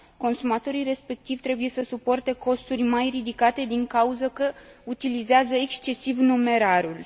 Consumatorii respectivi trebuie să suporte costuri mai ridicate din cauză că utilizează excesiv numerarul.